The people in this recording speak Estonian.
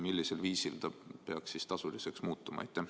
Millisel viisil see peaks tasuliseks muutuma?